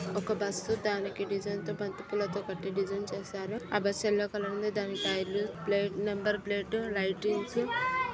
ఒక బస్సు దానికి డిజైన్ తో బంతిపూలతో కట్టి డిజైన్ చేసారు. ఆ బస్సు ఎల్లో కలర్ లో ఉంది. దానికి టైర్ లు ప్లేట్ నెంబర్ ప్లేటు లైటింగ్సు --